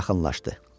Yaxınlaşdı.